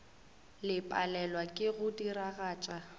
le palelwa ke go diragatša